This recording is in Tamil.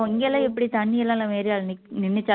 இங்க எல்லாம் எப்படி தண்ணி எல்லாம் நம்ம ஏரியால நின் நின்னுச்